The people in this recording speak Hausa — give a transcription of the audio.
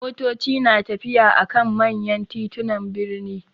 Motoci na tafiya a kan manya titunan birni.